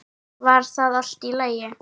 Var það allt í lagi?